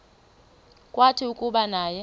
kwathi kuba naye